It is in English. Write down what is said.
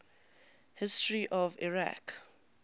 history of iraq